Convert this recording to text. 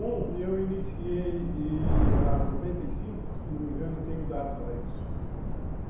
Um, eu iniciei e a noventa e cinco, se não me engano, tenho dados para isso.